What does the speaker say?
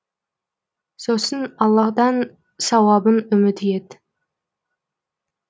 сосын аллаһтан сауабын үміт ет